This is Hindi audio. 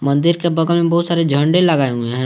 मंदिर के बगल में बहुत सारे झंडे लगाए हुए हैं।